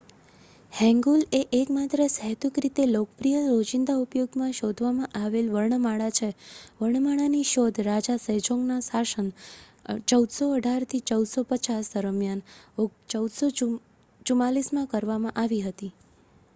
હેન્ગુલ એ એકમાત્ર સહેતુક રીતે લોકપ્રિય રોજીંદા ઉપયોગમાં શોધવામાં આવેલ વર્ણમાળા છે. વર્ણમાળાની શોધ રાજા સેજોંગનાં શાસન 1418 - 1450 દરમિયાન 1444માં કરવામાં આવી હતી